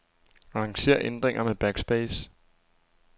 Arranger ændringer med backspace.